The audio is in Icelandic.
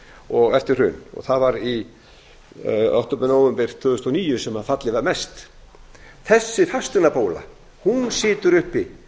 virkilega eftir hrun það var í október nóvember tvö þúsund og níu sem fallið var mest þessi fasteignabóla situr uppi